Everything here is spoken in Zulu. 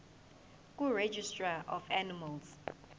kuregistrar of animals